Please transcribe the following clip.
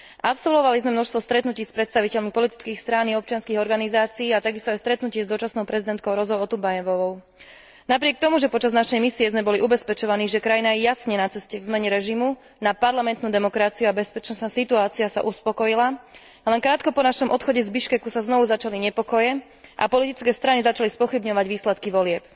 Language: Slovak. Absolvovali sme množstvo stretnutí s predstaviteľmi politických strán i občianskych organizácií a takisto aj stretnutie s dočasnou prezidentkou Rosou Otumbajevovou. Napriek tomu, že počas našej misie sme boli ubezpečovaní, že krajina je jasne na ceste k zmene režimu na parlamentnú demokraciu a bezpečnostná situácia sa upokojila, len krátko po našom odchode z Biškeku sa znovu začali nepokoje a politické strany začali spochybňovať výsledky volieb.